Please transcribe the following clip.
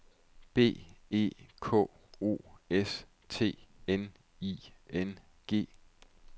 B E K O S T N I N G